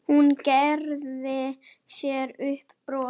Hún gerir sér upp bros.